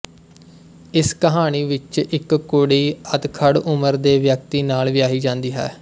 ਇਸ ਕਹਾਣੀ ਵਿੱਚ ਇੱਕ ਕੁੜੀ ਅਧਖੜ੍ਹ ਉਮਰ ਦੇ ਵਿਅਕਤੀ ਨਾਲ ਵਿਆਹੀ ਜਾਂਦੀ ਹੈ